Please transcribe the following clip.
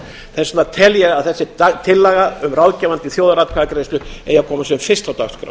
þess vegna tel ég að þessi tillaga um ráðgefandi þjóðaratkvæðagreiðslu eigi að koma sem fyrst á dagskrá